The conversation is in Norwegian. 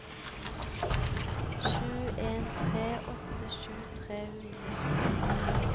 sju en tre åtte tjue tre hundre og sytti